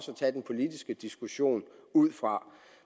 tage den politiske diskussion ud fra